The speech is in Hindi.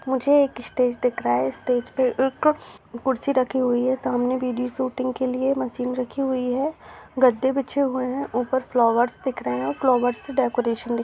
मुझे एक स्टेज दिख रहा है स्टेज पे एक कुर्सी रखी हुई है सामने वीडियो शूटिंग के लिए मशीन रखी हुई है गद्दे बिछे हुए हैं ऊपर फ्लावर्स दिख रहें हैं फ्लावर्स से डेकोरेशन दिख --